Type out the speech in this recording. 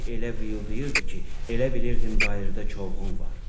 Külək elə vıyıldayırdı ki, elə bilirdin bayırda çovğun var.